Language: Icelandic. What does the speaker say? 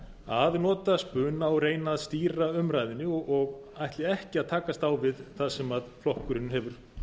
að nota spuna og reyna að stýra umræðunni og ætli ekki að takast á við það sem flokkurinn hefur sjálfur